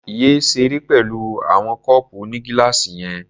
Yé ṣeré pẹ̀lú àwọn kọ́ọ̀pù onígíláàsì yẹn.